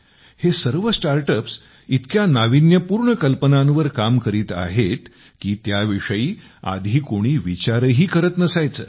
हे सर्व स्टार्टअप्स इतक्या नाविन्यपूर्ण कल्पनांवर काम करीत आहेत की त्याविषयी याआधी कोणी विचारही करीत नसायचे